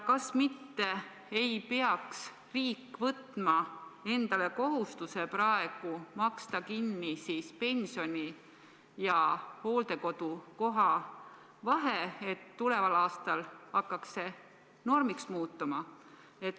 Kas mitte ei peaks riik võtma endale kohustuse praegu maksta kinni pensioni ja hooldekodukoha vahe, et tuleval aastal hakkaks see normiks muutuma?